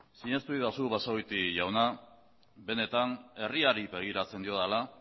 sinestu egidazu basagoiti jauna benetan herriari begiratzen diodala